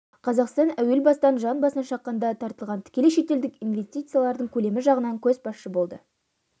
қазақстан әуел бастан жан басына шаққанда тартылған тікелей шетелдік инвестициялардың көлемі жағынан көшбасшы болды